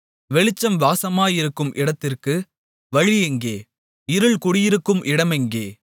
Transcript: வெளிச்சம் வாசமாயிருக்கும் இடத்திற்கு வழியெங்கே இருள் குடிகொண்டிருக்கும் இடமெங்கே